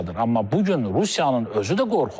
Amma bu gün Rusiyanın özü də qorxur.